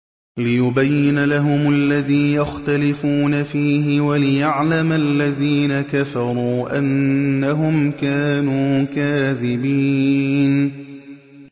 لِيُبَيِّنَ لَهُمُ الَّذِي يَخْتَلِفُونَ فِيهِ وَلِيَعْلَمَ الَّذِينَ كَفَرُوا أَنَّهُمْ كَانُوا كَاذِبِينَ